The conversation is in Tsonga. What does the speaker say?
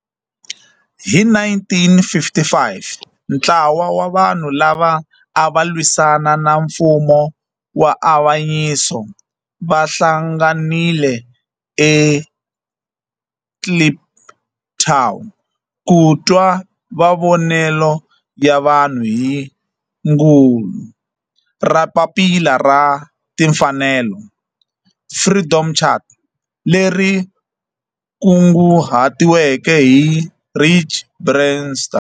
Hi 1955 ntlawa wa vanhu lava ava lwisana na nfumo wa avanyiso va hlanganile eKliptown ku twa mavonelo ya vanhu hi kungu ra Papila ra Tinfanelo, Freedom Charter, leri kunguhatiweke hi Rusty Bernstein.